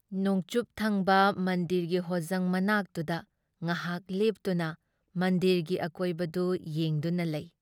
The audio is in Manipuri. ꯅꯣꯡꯆꯨꯨꯞ ꯊꯪꯕ ꯃꯟꯗꯤꯔꯒꯤ ꯍꯣꯖꯪ ꯃꯅꯥꯛꯇꯨꯗ ꯉꯍꯥꯛ ꯂꯦꯞꯇꯨꯅ ꯃꯟꯗꯤꯔꯒꯤ ꯑꯀꯣꯏꯕꯗꯨ ꯌꯦꯡꯗꯨꯅ ꯂꯩ ꯫